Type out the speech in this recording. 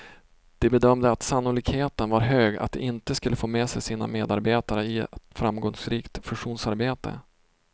De bedömde att sannolikheten var hög att de inte skulle få med sig sina medarbetare i ett framgångsrikt fusionsarbete.